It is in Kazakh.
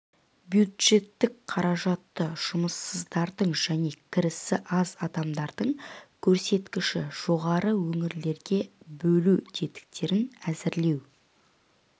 бюджеттік қаражатты жұмыссыздардың және кірісі аз адамдардың көрсеткіші жоғары өңірлерге бөлу тетіктерін әзірлеу